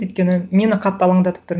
өйткені мені қатты алаңдатып тұр